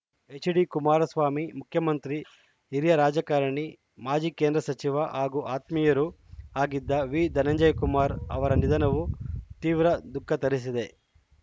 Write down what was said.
ಎಚ್‌ಡಿಕುಮಾರಸ್ವಾಮಿ ಮುಖ್ಯಮಂತ್ರಿ ಹಿರಿಯ ರಾಜಕಾರಣಿ ಮಾಜಿ ಕೇಂದ್ರ ಸಚಿವ ಹಾಗೂ ಆತ್ಮೀಯರೂ ಆಗಿದ್ದ ವಿಧನಂಜಯಕುಮಾರ್‌ ಅವರ ನಿಧನವು ತೀವ್ರ ದುಃಖ ತರಿಸಿದೆ